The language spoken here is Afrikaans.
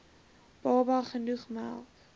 baba genoeg melk